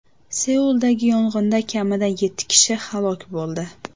Seuldagi yong‘inda kamida yetti kishi halok bo‘ldi.